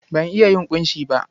Ban iya yin ƙunshi ba.